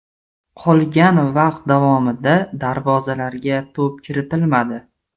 Qolgan vaqt davomida darvozalarga to‘p kiritilmadi.